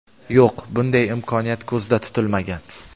Yo‘q, bunday imkoniyat ko‘zda tutilmagan.